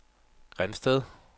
Grindsted